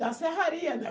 Da serraria, né?